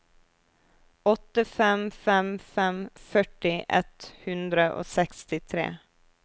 åtte fem fem fem førti ett hundre og sekstitre